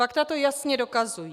Fakta to jasně dokazují.